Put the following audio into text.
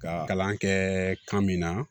Ka kalan kɛ kan min na